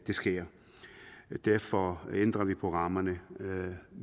sker derfor ændrer vi på rammerne